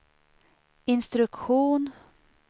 instruktion